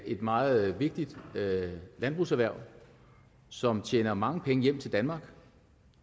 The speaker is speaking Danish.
et meget vigtigt landbrugserhverv som tjener mange penge hjem til danmark